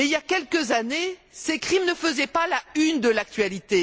Or, il y a quelques années, ces crimes ne faisaient pas la une de l'actualité.